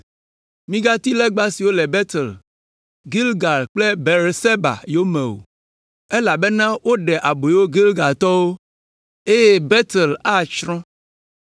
Migati legba siwo le Betel, Gilgal alo Beerseba yome o, elabena maɖe aboyo Gilgatɔwo, eye Betel atsrɔ̃.”